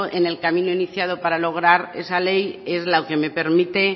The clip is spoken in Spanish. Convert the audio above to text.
en el camino iniciado para lograr esa ley es la que me permite